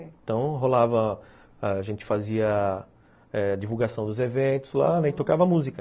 Então rolava, a gente fazia eh divulgação dos eventos lá, né, e tocava música.